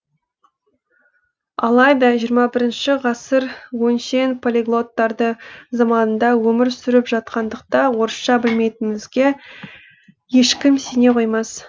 алайда жиырма бірінші ғасыр өңшең полиглоттар заманында өмір сүріп жатқандықта орысша білмейтінімізге ешкім сене қоймас